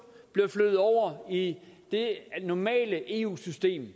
bliver flyttet over i det normale eu system